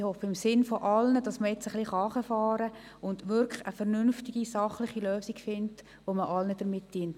Ich hoffe im Sinne aller, dass man jetzt etwas herunterfahren und eine vernünftige, sachliche Lösung finden kann, mit welcher man allen dient.